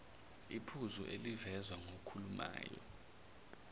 iphuzu elivezwa ngokhulumayo